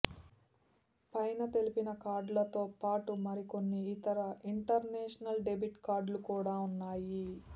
పైన తెలిపిన కార్డులతో పాటు మరి కొన్ని ఇతర ఇంటర్నేషనల్ డెబిట్ కార్డులు కూడా ఉన్నాయి